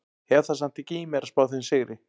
Hef það samt ekki í mér að spá þeim sigri.